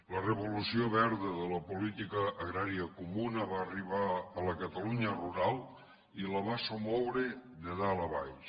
la revolució verda de la política agrària comuna va arribar a la catalunya rural i la va somoure de dalt a baix